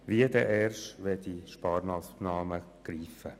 Wie soll dies erst der Fall sein, wenn diese Sparmassnahmen greifen?